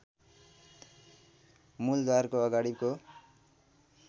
मूलद्वारको अगाडिको